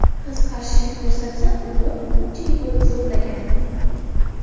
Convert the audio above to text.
Qiz qarshilik ko‘rsatsa, urib, ko‘pchilik bo‘lib zo‘rlagan.